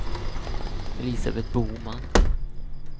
Elisabeth Boman